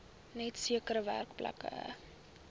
net sekere werkplekke